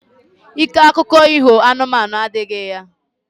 Ike akuko iho anụmanụ adihi ya.